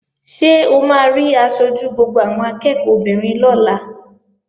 Ṣé o máa rí aṣojú gbogbo àwọn akẹ́ẹ̀kọ́ obìnrin lọ́la?